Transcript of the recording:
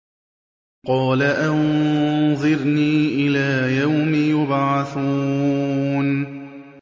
قَالَ أَنظِرْنِي إِلَىٰ يَوْمِ يُبْعَثُونَ